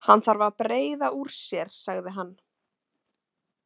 Hann þarf að breiða úr sér, sagði hann.